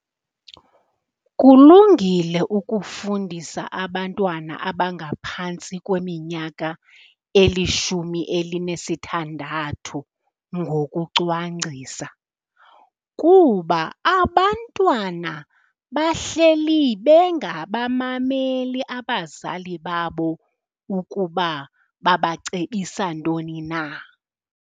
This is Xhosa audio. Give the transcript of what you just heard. Kulungile ukufundisa abantwana abangaphantsi kweminyaka elishumi elinesithandathu ngokucwangcisa, kuba abantwana bahleli bengabamameli abazali babo ukuba babacebisa ntoni na.